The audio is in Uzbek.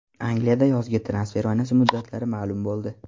Angliyada yozgi transfer oynasi muddatlari ma’lum bo‘ldi.